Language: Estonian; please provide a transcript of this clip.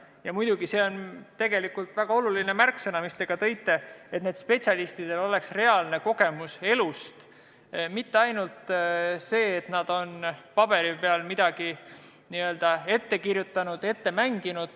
Ja muidugi on väga oluline see, mida te mainisite, et neil spetsialistidel oleks reaalne kogemus elust enesest, mitte ainult see, et nad on paberi peal midagi n-ö ette kirjutanud, läbi mänginud.